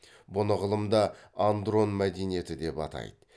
мұны ғылымда андрон мәдениеті деп атайды